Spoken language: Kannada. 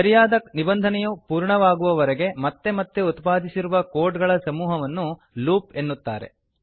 ಸರಿಯಾದ ನಿಬಂಧನೆಯು ಪೂರ್ಣವಾಗುವವರೆಗೆ ಮತ್ತೆ ಮತ್ತೆ ಉತ್ಪಾದಿಸಿರುವ ಕೋಡ್ ಗಳ ಸಮೂಹವನ್ನು ಲೂಪ್ ಎನ್ನುತ್ತಾರೆ